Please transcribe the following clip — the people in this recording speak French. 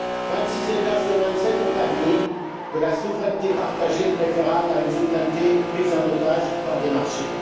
Vingt six États sur vingt sept ont admis que la souveraineté partagée est préférable à une souveraineté prise en otage par des marchés.